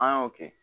An y'o kɛ